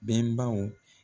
Bɛnbaw.